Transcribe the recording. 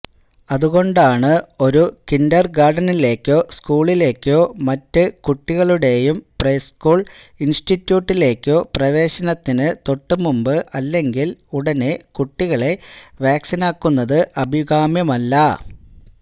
അതുകൊണ്ടാണ് ഒരു കിൻഡർഗാർട്ടനിലേക്കോ സ്കൂളിലേക്കോ മറ്റ് കുട്ടികളുടെയും പ്രസ്കൂൾ ഇൻസ്റ്റിറ്റ്യൂട്ടിലേക്കോ പ്രവേശനത്തിന് തൊട്ടുമുൻപ് അല്ലെങ്കിൽ ഉടനെ കുട്ടികളെ വാക്സിനാക്കുന്നത് അഭികാമ്യമല്ല